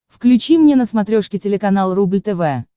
включи мне на смотрешке телеканал рубль тв